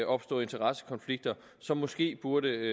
opstå interessekonflikter som måske burde